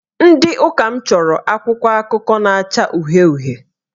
Ndị Ụka m chọrọ akwụkwọ akụkọ na-acha uhie uhie